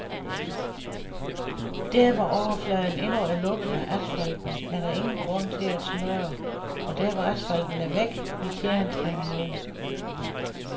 Der hvor overfladen endnu er lukket af asfalten er der ingen grund til at smøre, og der hvor asfalten er væk, vil tjæren trænge ned.